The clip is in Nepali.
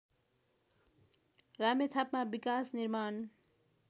रामेछापमा विकासनिर्माण